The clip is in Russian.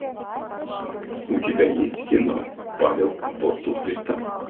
у тебя есть кино павел апостол христа